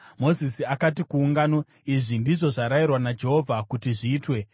Mozisi akati kuungano, “Izvi ndizvo zvarayirwa naJehovha kuti zviitwe.”